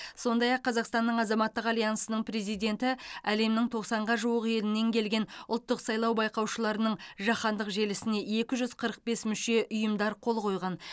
сондай ақ қазақстанның азаматтық альянсының президенті әлемнің тоқсанға жуық елінен келген ұлттық сайлау байқаушыларының жаһандық желісіне екі жүз қырық бес мүше ұйымдар қол қойған